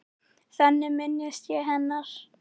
Þannig minnist ég hennar.